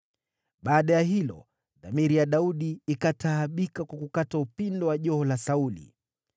Baada ya hilo, dhamiri ya Daudi ikataabika kwa kukata upindo wa joho la Sauli.